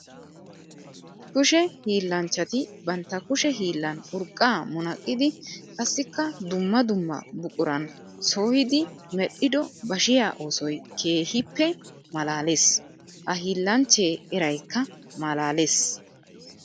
Kushe hiillanchchatti bantta kushe hiillan urqqa munaqqiddi qassikka dumma dumma buquran sohiddi medhdhido bashiya oosoy keehippe malaales. Ha hillanchche eraykka malaalees.